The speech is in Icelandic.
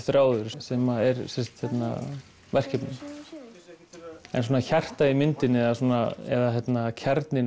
þráður sem er verkefnið hjartað í myndinni eða kjarninn